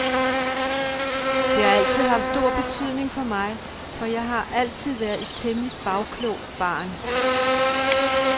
Det har altid haft stor betydning for mig, for jeg har altid været et temmelig bagklogt barn.